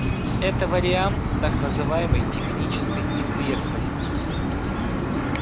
это вариант так называемой технической известности